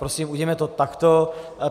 Prosím, udělejme to takto.